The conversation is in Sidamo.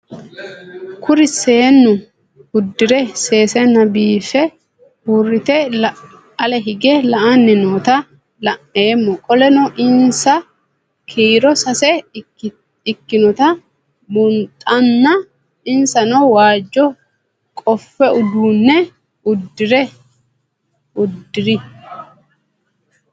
Kuri seenu udire sesena biife urite ale hige la'ani noota la'nemo qoleno insa kiiro sase ikinotana bunxana insano waajo qofe udune udire